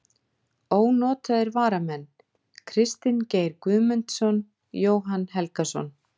Ónotaðir varamenn: Kristinn Geir Guðmundsson, Jóhann Helgason.